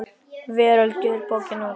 Veröld gefur bókina út.